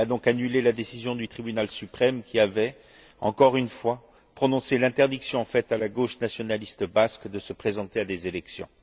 Elle a donc annulé la décision du tribunal suprême qui avait, encore une fois, prononcé l'interdiction faite à la gauche nationaliste basque de se présenter à des élections.